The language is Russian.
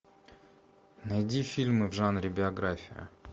найди фильмы в жанре биография